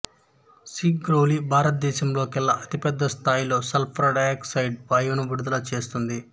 సింగ్రౌలి భారతదేశంలో కెల్లా అతిపెద్ద స్థాయిలో సల్ఫర్ డయాక్సైడు వాయువును విడుదల చేస్తుంది